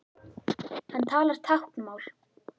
Hann talar táknmál.